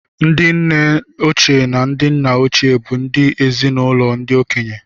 Ndị nne ochie na ndị nna ochie bụ ndị ezi-na-ụlọ ndị okenye